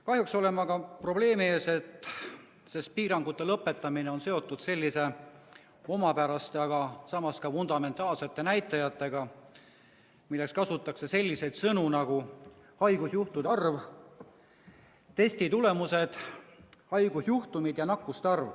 Kahjuks oleme aga probleemi ees, et piirangute lõpetamine on seotud sellise omapäraste, aga samas ka fundamentaalsete näitajatega, mille puhul kasutatakse selliseid sõnu nagu haigusjuhtude arv, testide tulemused, haigusjuhtumid ja nakkuste arv.